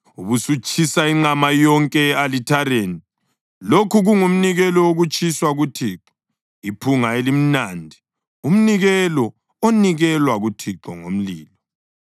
ubusutshisa inqama yonke e-alithareni. Lokhu kungumnikelo wokutshiswa kuThixo, iphunga elimnandi, umnikelo onikelwa kuThixo ngomlilo.